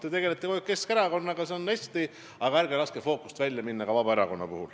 Te tegelete kogu aeg Keskerakonnaga, see on hästi, aga ärge laske fookusest välja ka Vabaerakonda.